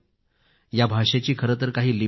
या भाषेची काही लिपी नाहीये